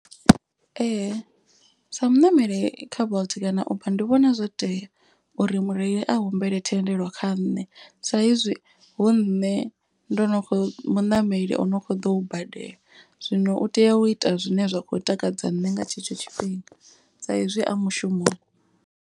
Ee sa muṋameli kha bolt kana uber ndi vhona zwo tea uri mureili a humbela thendelo kha nṋe. Sa izwi hu nne ndo no kho muṋameli o no kho ḓo badela. Zwino u tea u ita zwine zwa khou takadza nṋe nga tshetsho tshifhinga sa izwi a mushumoni.